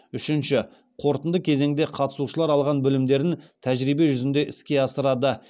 үшінші қорытынды кезеңде қатысушылар алған білімдерін тәжірибе жүзінде іске асырады